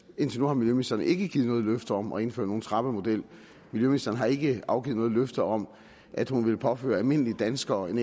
indtil nu har miljøministeren ikke givet noget løfte om at indføre nogen trapppemodel miljøministeren har ikke afgivet noget løfte om at hun vil påføre almindelige danskere en